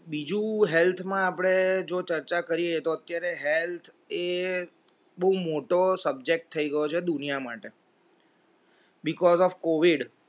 બીજું health માં આપડે જો ચર્ચા કરીએ તો અત્યાર health એ બહુ મોટો subject થઈ ગયો છે દુનિયા માટે because of covid